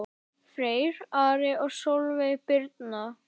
Freyr, Ari og Sólveig Birna.